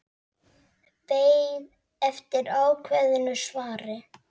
Beið eftir ákveðnu svari.